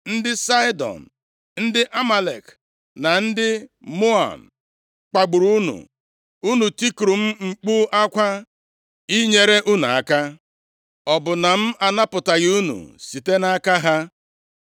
ndị Saịdọn, ndị Amalek na ndị Maon kpagburu unu; unu tikuru m mkpu akwa inyere unu aka, ọ bụ na m anapụtaghị unu site nʼaka ha?